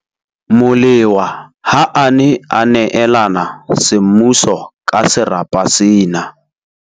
Molewa ha a ne a neelana semmuso ka serapa sena.